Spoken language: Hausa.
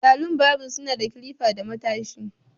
Salon barbing suna da clipper da matashi.